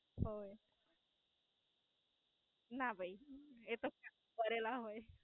અ ના, ભઈ એ તો કરેલા હોય.